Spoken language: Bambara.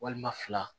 Walima fila